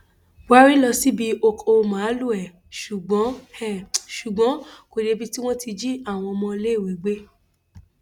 buhari lọ síbi ọkọ màálùú ẹ ṣùgbọn ẹ ṣùgbọn kò débi tí wọn ti jí àwọn ọmọléèwé gbé